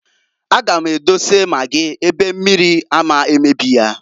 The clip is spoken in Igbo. A gam edose magị ebe mmiri ama mmebi ya.